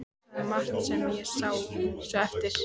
Sagði margt sem ég sá svo eftir.